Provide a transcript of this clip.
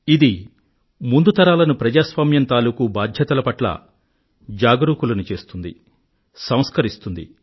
ఇది ముందు తరాలను ప్రజాస్వామ్యం తాలూకూ బాధ్యతల పట్ల జాగరూకులను చేస్తుంది సంస్కరిస్తుంది